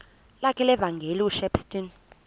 lakhe levangeli ushepstone